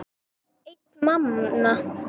Einn manna!